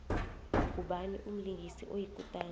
ngubani umlingisi oyikutani